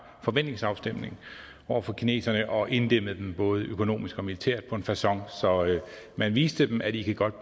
forventningsafstemning over for kineserne og inddæmmede dem både økonomisk og militært på en facon så man viste dem at de godt